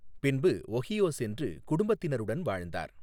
பின்பு ஒஹியோ சென்று குடும்பத்தினருடன் வாழ்ந்தார்.